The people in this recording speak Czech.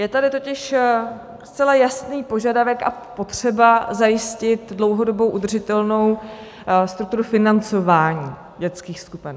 Je tady totiž zcela jasný požadavek a potřeba zajistit dlouhodobou udržitelnou strukturu financování dětských skupin.